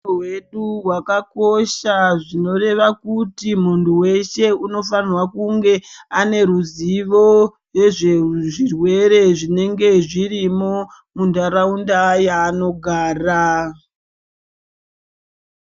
Hutano hwedu hwakakosha zvinoreva kuti munhu weshe anofanirwa kunge ane ruzivo yezvezvirwere zvinenge zvirimo mundaraunda yanogara.